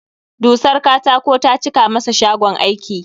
Dusar katako ta cika masa shagon aiki